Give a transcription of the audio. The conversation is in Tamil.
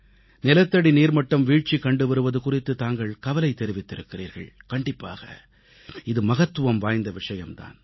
நிலத்தடிநீர் மட்டம் வீழ்ச்சி கண்டுவருவது குறித்து தாங்கள் கவலை தெரிவித்திருக்கிறீர்கள் கண்டிப்பாக இது மகத்துவம் வாய்ந்த விஷயம் தான்